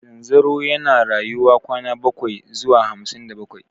Zanzaro yana rayuwa kwana bakwai zuwa hamsin da bakwai.